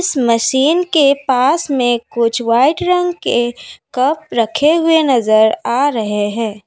Machine के पास में व्हाइट रंग के कप रखे हुए नजर आ रहे है।